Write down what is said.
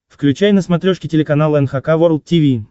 включай на смотрешке телеканал эн эйч кей волд ти ви